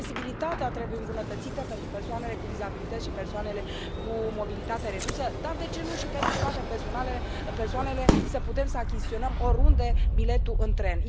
Accesibilitatea trebuie îmbunătățită pentru persoanele cu dizabilități și persoanele cu mobilitate redusă dar, de ce nu, și pentru toate persoanele, să putem să achiziționăm oriunde biletul în tren.